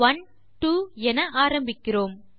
one two என ஆரம்பிக்கிறோம்